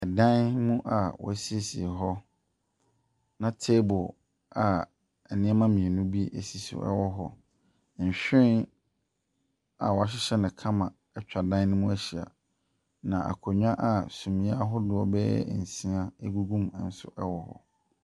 Dan mu a wɔasiesie hɔ, na table a nneɛma mmienu si so wɔ hɔ, nhyiren a wɔasiesie no kama atwa dan ne mu ahyia. Na akonnwa a sunie ahodoɔ bɛyɛ nsia gugu mu nso wɔ hɔ.